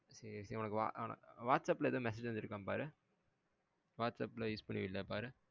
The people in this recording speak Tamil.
சேரி சேரி உனக்கு whatsapp எதும் message வந்திர்காணு பாரு whatsapp la use பண்ணுவில்ல பாரு